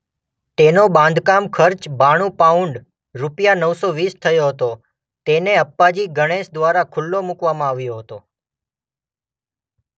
તેનો બાંધકામ ખર્ચ બાણુ પાઉન્ડ રુપિયા નવ સો વીસ થયો હતો તેને અપ્પાજી ગણેશ દ્વારા ખૂલ્લો મૂકવામાં આવ્યો હતો.